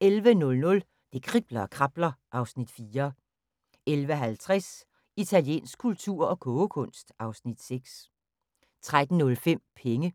11:00: Det kribler og krabler (Afs. 4) 11:50: Italiensk kultur og kogekunst (Afs. 6) 13:05: Penge